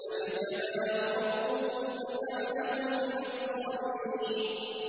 فَاجْتَبَاهُ رَبُّهُ فَجَعَلَهُ مِنَ الصَّالِحِينَ